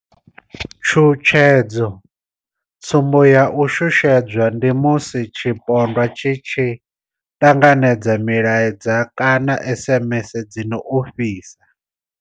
Tshutshedzo, Tsumbo ya u shushedzwa ndi musi tshipondwa tshi tshi ṱanganedza milaedza kana SMS dzi no ofhisa.